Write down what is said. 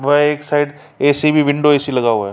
व एक side AC. Window AC. लगा हुआ है।